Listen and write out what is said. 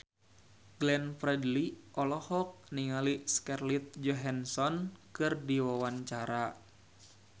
Glenn Fredly olohok ningali Scarlett Johansson keur diwawancara